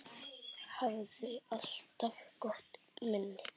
Hafði alltaf gott minni.